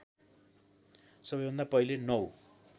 सबैभन्दा पहिले नौ